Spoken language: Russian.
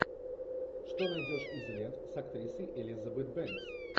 что найдешь из лент с актрисой элизабет бэнкс